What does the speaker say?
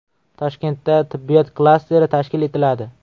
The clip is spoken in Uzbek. Toshkentda tibbiyot klasteri tashkil etiladi.